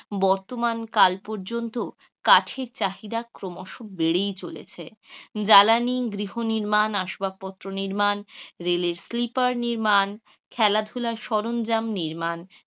বর্তমান কাল পর্যন্ত চাহিদা ক্রমশ বেড়েই চলেছে, জ্বালানি, গৃহনির্মাণ, আসবাবপত্র নির্মান, রেলের স্লিপার নির্মান, খেলাধুলার সরঞ্জাম নির্মাণ,